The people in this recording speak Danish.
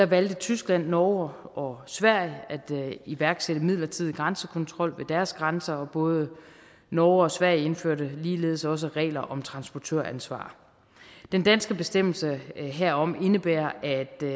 valgte tyskland norge og sverige at iværksætte en midlertidig grænsekontrol ved deres grænser og både norge og sverige indførte ligeledes også regler om transportøransvar den danske bestemmelse herom indebærer at den